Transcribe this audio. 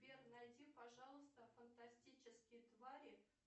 сбер найди пожалуйста фантастические твари